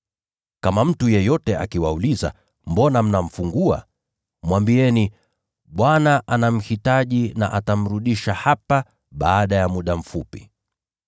Kama mtu yeyote akiwauliza, ‘Mbona mnamfungua?’ Mwambieni, ‘Bwana anamhitaji, na atamrudisha hapa baada ya muda mfupi.’ ”